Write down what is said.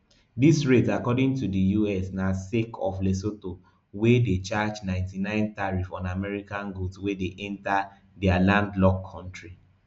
dis rate according to di us na sake of lesotho wey dey charge ninety-nine tariff on american goods wey dey enta di landlocked kontri